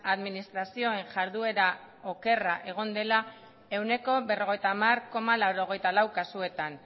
administrazioen jarduera okerra egon dela ehuneko berrogeita hamar koma laurogeita lau kasuetan